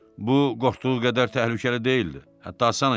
Bu, qorxduğu qədər təhlükəli deyildi, hətta asan idi.